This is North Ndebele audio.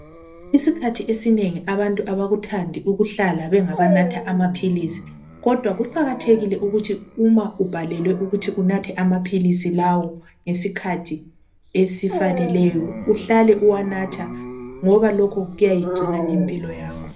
Isikhathi esinengi abantu abakuthandi ukuhlala bengaba natha amaphilisi. Kodwa kuqakathekile ukuthi uma ubhalelwe ukuthi unathe amaphilisi lawo ngesikhathi esifaneleyo uhlale uwanatha ngoba lokhu kuyayigcina impilo yakho.